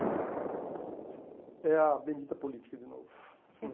Então, é a bendita política de novo.